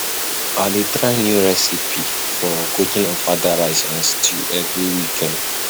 I dey try new recipe for cooking ofada rice and stew every weekend.